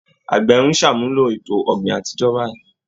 Àgbẹ̀ ń ṣàmúlò ètò ọ̀gbìn àtijọ́ báyìí